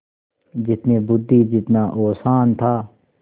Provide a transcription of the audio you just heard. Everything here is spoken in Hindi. जितनी बुद्वि जितना औसान था